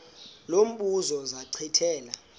lo mbuzo zachithela